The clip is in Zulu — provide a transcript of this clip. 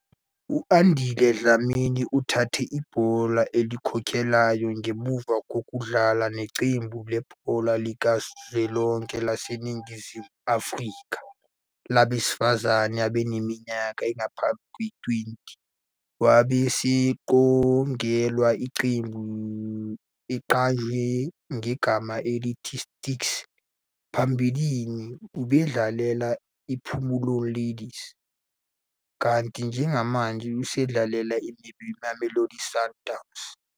U-Andile Dlamini uthathe ibhola elikhokhelayo ngemuva kokudlala neqembu lebhola likazwelonke laseNingizimu Afrika labesifazane abaneminyaka engaphansi kwengama-20, wabe eseqokelwa iqembu. Uqanjwe ngegama elithi "Sticks", phambilini ubedlalela iPhomolong Ladies, kanti njengamanje usadlalela iMamelodi Sundowns.